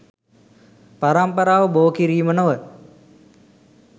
පරම්පරාව බෝ කිරීම නොව